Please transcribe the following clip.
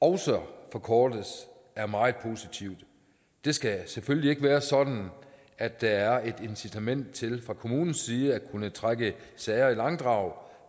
også forkortes er meget positivt det skal selvfølgelig ikke være sådan at der er et incitament til fra kommunens side at kunne trække sager i langdrag